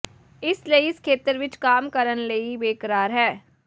ਇਸ ਲਈ ਇਸ ਖੇਤਰ ਵਿਚ ਕੰਮ ਕਰਨ ਲਈ ਬੇਕਰਾਰ ਹੈ